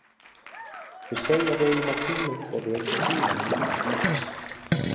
Þeir segja að við eigum að príla upp og vekja Frímann með nettum kossi